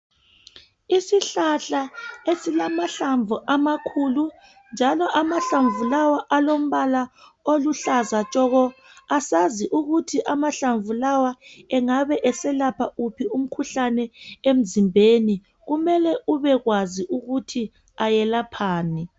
Isihlahla esilamahlamvu amakhulu njalo amahlamvu lawa alombala oluhlaza tshoko, asaz ukuthi amahlamvu lawa engabe eselapha uphi umkhuhlane emzimbeni. Kumele ubekwazi ukuthi ayelaphani.